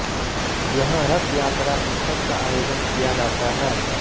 यहां रथ यात्रा उत्सव का आयोजन किया जाता है